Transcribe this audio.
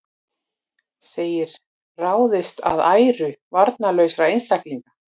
Segir ráðist að æru varnarlausra einstaklinga